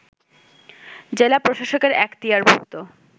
জেলা প্রশাসকের এখতিয়ারভুক্ত